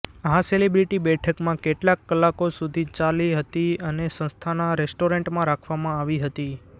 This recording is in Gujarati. આ સેલિબ્રિટી બેઠકમાં કેટલાક કલાકો સુધી ચાલી હતી અને સંસ્થાના રેસ્ટોરન્ટમાં રાખવામાં આવી હતી